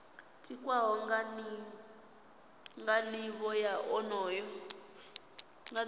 tikwaho nga nivho ya onoyo